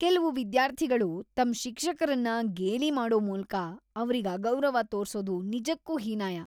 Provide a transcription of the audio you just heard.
ಕೆಲ್ವು ವಿದ್ಯಾರ್ಥಿಗಳು ತಮ್ ಶಿಕ್ಷಕ್ರನ್ನ ಗೇಲಿ ಮಾಡೋ ಮೂಲ್ಕ ಅವ್ರಿಗ್ ಅಗೌರವ ತೋರ್ಸೋದು ನಿಜಕ್ಕೂ ಹೀನಾಯ.